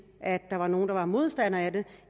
at der var nogle der var modstandere af det